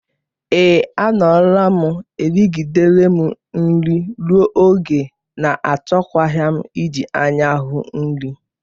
Ee, a nọrọ m. Erigidere m nri ruo ogo na achọkwaghị m iji anya ahụ nri.